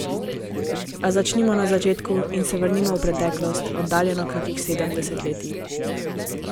A začnimo na začetku in se vrnimo v preteklost, oddaljeno kakih sedem desetletij.